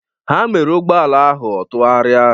Ha mere ụgbọala ahụ ọ tụgharịa.